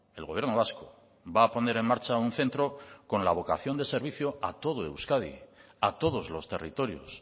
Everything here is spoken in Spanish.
el gobierno vasco va a poner en marcha un centro con la vocación de servicio a todo euskadi a todos los territorios